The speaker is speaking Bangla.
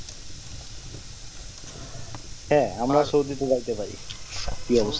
হ্যাঁ আমরা সৌদি টো ভাবতে পারি কি অবস্থা